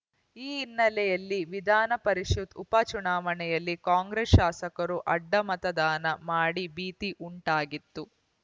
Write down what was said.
ಈ ಹಿನ್ನೆಲೆಯಲ್ಲಿ ವಿಧಾನಪರಿಷತ್‌ ಉಪ ಚುನಾವಣೆಯಲ್ಲಿ ಕಾಂಗ್ರೆಸ್‌ ಶಾಸಕರು ಅಡ್ಡಮತದಾನ ಮಾಡಿ ಭೀತಿ ಉಂಟಾಗಿತ್ತು